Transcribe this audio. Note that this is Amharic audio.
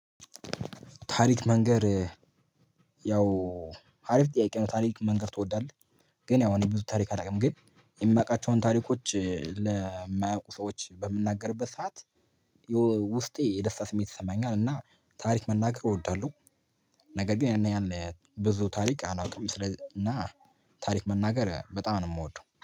ታሪክ መንገር ያው አሪፍ ጥያቄ ነው ታሪክ መንገር ትወዳለህ? ግን ያው እኔ ብዙ ታሪክ አላውቅም ግን የማውቃቸውን ታሪኮች ለማያውቁ ሰዎች በምናገርበት ሰዓት የደስታ ስሜት ይሰማኛል እና ታሪክ መናገር እወዳለሁ፤ ነገር ግን ያንን ያህል ብዙ ታሪክ አላውቅም ስለዚህ እና ታሪክ መናገር በጣም ነው የምወደው